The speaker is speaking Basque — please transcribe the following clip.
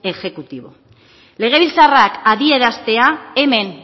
exekutibo legebiltzarrak adieraztea hemen